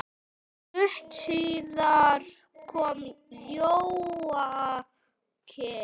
Stuttu síðar kom Jóakim.